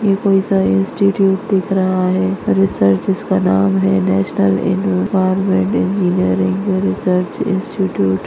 ऐ कोईसा इंस्टीटूट दिख रहा है रिसर्च जिसका नाम है National Environmental Engineering Research Institute --